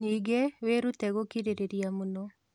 Ningĩ, wĩrute gũkirĩrĩria mũno